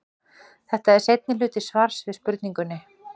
þetta er seinni hluti svars við spurningunni